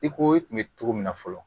I ko i kun bɛ cogo min na fɔlɔ